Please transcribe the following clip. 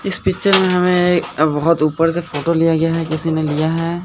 इस पिक्चर में हमें बहोत ऊपर से फोटो लिया गया है किसी ने लिया है।